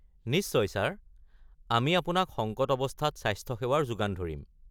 নিশ্চয় ছাৰ। আমি আপোনাক সংকট অৱস্থাত স্বাস্থ্য সেৱাৰ যোগান ধৰিম।